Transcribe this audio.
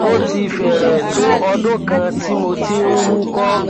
ó ti fẹrẹẹ tó ọdún kan tí mo ti ń wúkọ